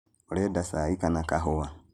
ũrenda cai kana kahũa?